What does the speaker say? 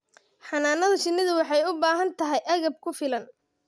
Xannaanada shinnidu waxay u baahan tahay agab ku filan.